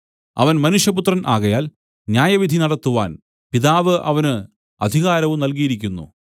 അവൻ മനുഷ്യപുത്രൻ ആകയാൽ ന്യായവിധി നടത്തുവാൻ പിതാവ് അവന് അധികാരവും നല്കിയിരിക്കുന്നു